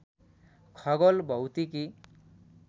खगोल भौतिकी